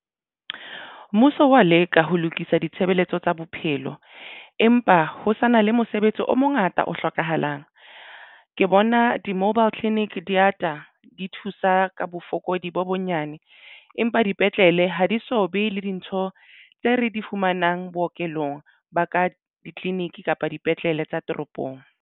Mmuso wa leka ho lokisa ditshebeletso tsa bophelo empa ho sa na le mosebetsi o mongata o hlokahalang. Ke bona di-Mobile Clinic di ata di thusa ka bofokodi bo bonyane empa dipetlele ha di so be le dintho tse re di fumanang bookelong ba ka di-clinic kapa dipetlele tsa toropong.